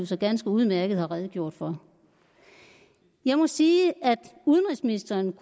så ganske udmærket har redegjort for jeg må sige at udenrigsministeren